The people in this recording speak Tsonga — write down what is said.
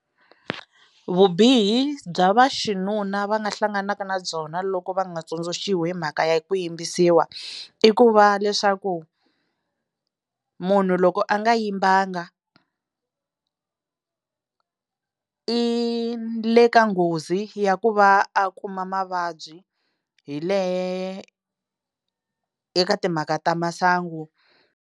Vubihi bya va xinuna va nga hlanganaka na byona loko va nga tsundzuxiwa hi mhaka ya ku yimbisiwa i ku va leswaku munhu loko a nga yimbanga i le ka nghozi ya ku va a kuma mavabyi hi le eka timhaka ta masangu.